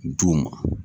D'u ma